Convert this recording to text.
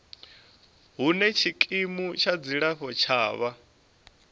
hune tshikimu tsha dzilafho tshavho